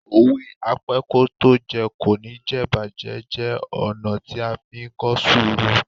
Òwe "Apẹ́kótójẹ kò ní jẹ̀'bàjẹ́" jẹ́ ọ̀nà tí a fí ń kọ́ sùúrù.